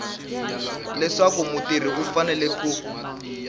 leswaku mutirhi u fanele ku